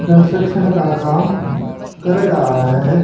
Concussion का काम कर रहा है।